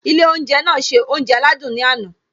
Ilé oúnjẹ náà se oúnjẹ aládùn ní àná